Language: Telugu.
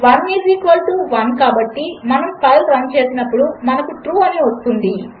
1 ఈస్ఈక్వల్టు 1 కాబట్టి మనఫైల్రన్చేసినప్పుడుమనకు ట్రూ అనివస్తుంది